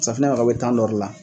Sanfunɛ mako bɛ dɔ de la.